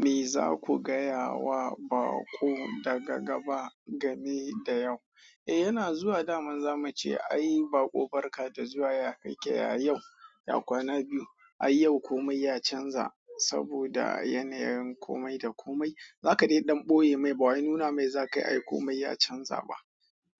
Me za ku gaya wa baƙo daga gaba game da yau? Eh yana zuwa daman zamu ce ayi baƙo barka da zuwa ya kake ya yau, ya kwana biyu ai yau komai ya canza saboda yanayin komai da komai. Za ka dai ɗan ɓoye mai ba wa nuna mai za kai ayi komai ya canza ba